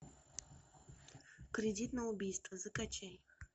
кредит на убийство закачай